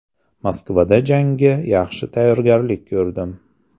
Moskvada jangga yaxshi tayyorgarlik ko‘rdim.